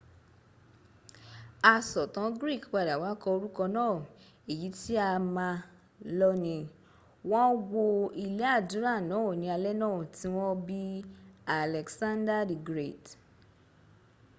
asọ̀tàn greek padà wá kọ orúkọ náà èyí tí a ma lọ́nìí wọ́n wó ilé àdúrà náà ní alé náà tí wọ́n bí alexander the great